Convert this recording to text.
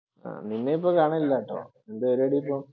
നിന്നെയിപ്പോൾ കാണാനില്ലാട്ടോ. എന്തു പരിപാടി ഇപ്പം?